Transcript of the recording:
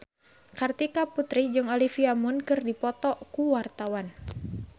Kartika Putri jeung Olivia Munn keur dipoto ku wartawan